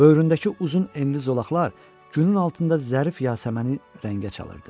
Böyründəki uzun enli zolaqlar günün altında zərif yasəməni rəngə çalırdı.